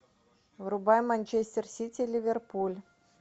врубай манчестер сити ливерпуль